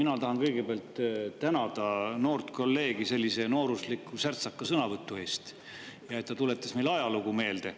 Mina tahan kõigepealt tänada noort kolleegi sellise noorusliku, särtsaka sõnavõtu eest ja selle eest, et ta tuletas meile ajalugu meelde.